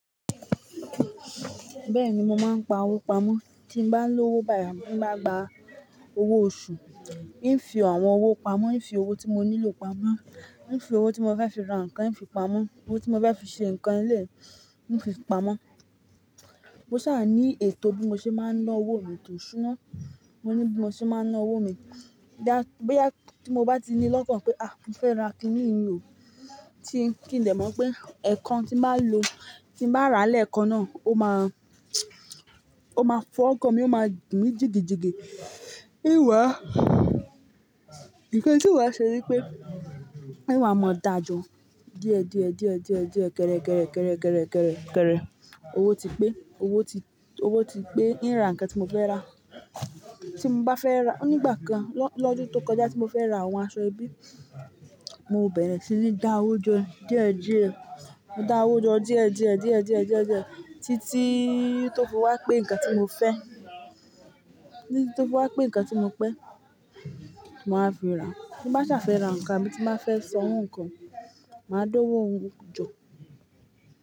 Bẹ́ẹ̀ni mo máa ń pa owó pamọ́, tí m bá ń lo owó bayi, tí mo bá gba owó oṣù, ì ń fi àwọn owó pamọ́, ì ń fi owó tí mo nílò pamọ́, ì ń fi owó tí mo fẹ́ fi ra nǹkan, ì ń fi pamọ́, owó tí mo fẹ́ fi ṣe nǹkan nílé, ì ń fi pamọ́. Mo sá à ní ètò bí mo ṣe máa ńa owó mi etó iṣúná, mo ní bí mo ṣe máa ń ná owó mi. Ídà, bóyá tí mo bá ti ní lọ́kàn pé, à, mo fẹ́ ra kiní yìí ló, tí ń kí n lè mọ̀ pé ẹ̀kan tí mbá lo, tí mbá rà lẹ́ẹ̀kan náà, ó máa, ó máa fọ́ ọkàn mi, ó máa gbin mi jìgìjìgì. Ìwà, nǹkan tí ìwà ṣe ni pé ìwà mọ̀ dájọ. Díẹ̀ díẹ̀ díẹ̀ díẹ̀ díẹ̀, kéré kéré kéré kéré kéré kéré, owó ti pé, owó ti, owó ti pé, ń ra nǹkan tí mo fẹ́ rà. Tí mo bá fẹ́ rà, nígbà kan lọ́dún tó kọjá tí mo fẹ́ ra àwọn aṣọ ẹbí, mo bẹ̀rẹ̀ sí ní dá owó jọ díẹ̀ díẹ̀, mo dá owó jọ díẹ̀ díẹ̀ díẹ̀ díẹ̀ díẹ̀ díẹ̀, títí tó fi wá pé nǹkan tí mo fẹ́, títí tó fi wá pé nǹkan tí mo pẹ́, mo máa fi rà á. Mo bá ṣà fẹ́ ra nǹkan mi tí má fẹ́ san owó nǹkan, màá dá owó hun jọ.